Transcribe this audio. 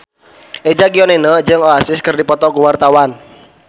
Eza Gionino jeung Oasis keur dipoto ku wartawan